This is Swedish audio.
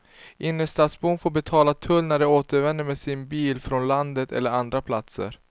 Innerstadsbor får betala tull när de återvänder med sin bil från landet eller andra platser.